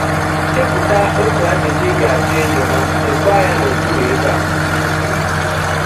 Chepụta otu ajụjụ ị ga - achọ ịjụ ha, deekwa ya n’okpụrụ ebe a.